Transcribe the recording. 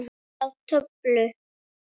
Sjá töflu.